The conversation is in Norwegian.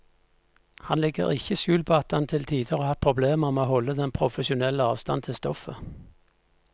Han legger ikke skjul på at han til tider har hatt problemer med å holde den profesjonelle avstand til stoffet.